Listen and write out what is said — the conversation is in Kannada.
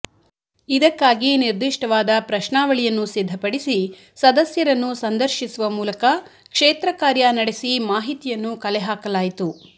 ಇದಕ್ಕಾಗಿ ನಿರ್ದಿಷ್ಟವಾದ ಪ್ರಶ್ನಾವಳಿಯನ್ನು ಸಿದ್ಧಪಡಿಸಿ ಸದಸ್ಯರನ್ನು ಸಂದರ್ಶಿಸುವ ಮೂಲಕ ಕ್ಷೇತ್ರಕಾರ್ಯ ನಡೆಸಿ ಮಾಹಿತಿಯನ್ನು ಕಲೆ ಹಾಕಲಾಯಿತು